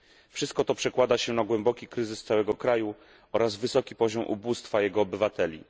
Wszystko to przekłada się na głęboki kryzys całego kraju oraz wysoki poziom ubóstwa jego obywateli.